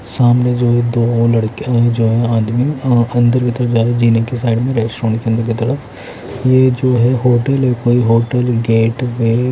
सामने जो भी दो लड़के है जो है आदमी अंदर की तरफ जा रहे हैं जीने की साइड में रेस्टोरेंट के अंदर की तरफ ये है जो होटल है कोई होटल गेट-वे --